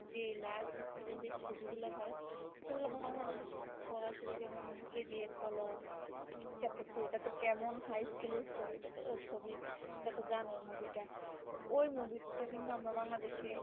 যে large scale এর ছবি গুলা হয় সেগুলা বাংলাদেশের সরাসরি যেমন কেজিএফ বলো chapter two এটা তো কেমন high scale এর ছবি টা তো ছবি এটা তো জানোই movie টা বুঝতেছি যে actually movie টা কি বা বাহিরের